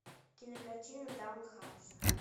кинокартина даунхаус